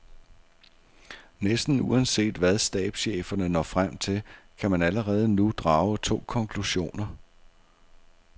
Næsten uanset hvad stabscheferne når frem til, kan man allerede nu drage to konklusioner.